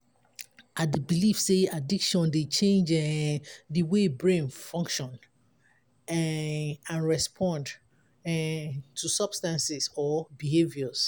i dey believe say addiction dey change um di way brain function um and respond um to substances or behaviours.